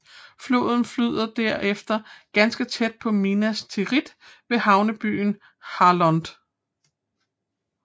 Floden flyder derefter ganske tæt på Minas Tirith ved havnebyen Harlond